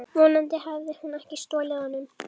Vonandi hafði hún ekki stolið honum.